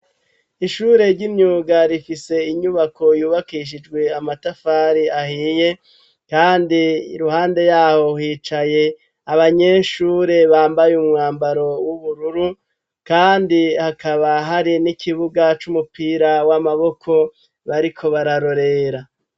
ishure ry'imyuga rifise inyubako yubakishijwe amatafari ahiye kandi iruhande yaho hicaye abanyeshure bambaye umwambaro w'ubururu kandi hakaba hari n'ikibuga c'umupira w'amaboko bariko bararorera